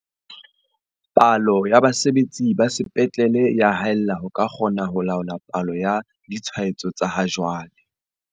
Palo ya basebetsi ba sepetlele e ya haella ho ka kgona ho laola palo ya ditshwaetso tsa ha jwale.